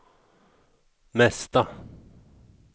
mesta